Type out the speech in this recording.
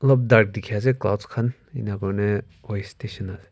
alop dark dikhi ase clouds khan enia koine voice station ase.